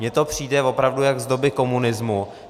Mně to přijde opravdu jak z doby komunismu.